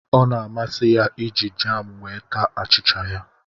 Ọ na-amasị ya iji jam wee taa achịcha ya